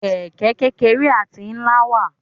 Kẹ̀kẹ́ kékeré àti ńlá wà.